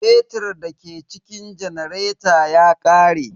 Fetir da ke cikin janareta ya ƙare.